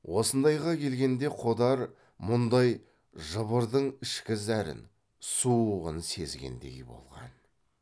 осындайға келгенде қодар мұндай жыбырдың ішкі зәрін суығын сезгендей болған